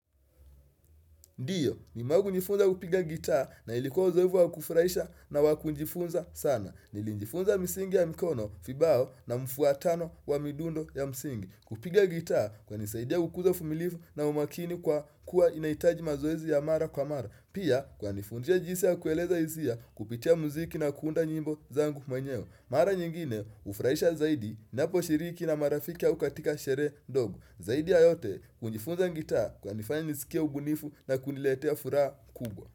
Ndiyo, nimewai kujifunza kupiga gitaa na ilikuwa uzoefu wa kufurahisha na wakujifunza sana. Nili njifunza msingi ya mikono, vibao na mfuatano wa midundo ya msingi. Kupiga gitaa kunisaidia kukuza uvumilivu na umakini kwa kuwa inahitaji mazoezi ya mara kwa mara. Pia, kukanifundisha jinsi ya kueleza hisia kupitia mziki na kuunda nyimbo zangu mwenyewe. Mara nyingine, hufurahisha zaidi, naposhiriki na marafiki au katika sherehe ndogo. Zaidi ya yote kujifunza gitaa kunanifanya nisikie ubunifu na kuniletea furaha kubwa.